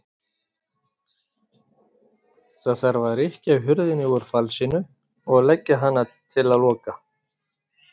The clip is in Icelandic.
Það þarf að rykkja hurðinni úr falsinu og leggjast á hana til að loka.